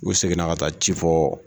U seginna ka taa ci fɔ